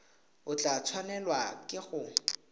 o tla tshwanelwa ke go